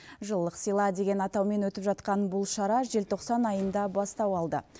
жылылық сыйла деген атаумен өтіп жатқан бұл шара желтоқсан айында бастау алды